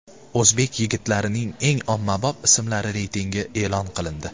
O‘zbek yigitlarining eng ommabop ismlari reytingi e’lon qilindi.